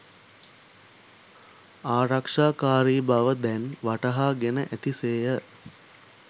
ආරක්ෂාකාරී බව දැන් වටහාගෙන ඇති සේය.